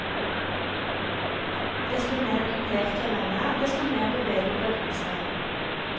Desto mer kupert terrenget er, desto mer beveger bølgen seg.